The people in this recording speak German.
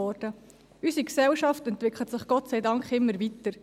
Unsere Gesellschaft entwickelt sich, Gott sei Dank, immer weiter.